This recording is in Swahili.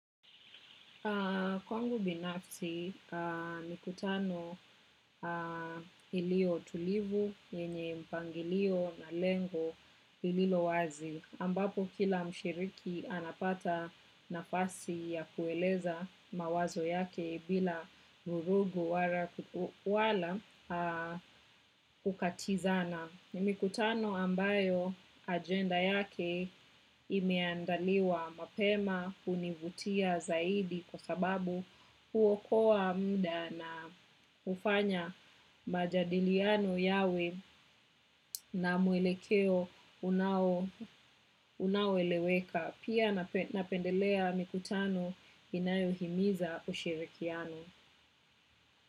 Kwangu binafsi mikutano iliyo tulivu, yenye mpangilio na lengo lilowazi. Ambapo kila mshiriki anapata nafasi ya kueleza mawazo yake bila vurugu wala kukatizana. Ni mikutano ambayo ajenda yake imeandaliwa mapema hunivutia zaidi kwa sababu huokoa muda na hufanya majadiliano yawe na mwelekeo unaoeleweka. Pia napendelea mikutano inayohimiza ushirikiano.